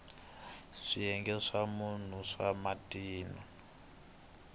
swiyenge swa mune swa matino